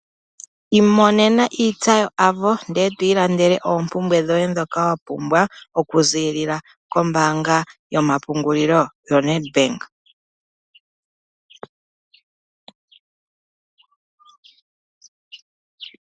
Imonene iintsa yo Avo ndele eto ilandele oompumbwe dhoye ndhoka wa pumbwa. Oku ziilila kombaanga yomapungulilo yo NEDBANK.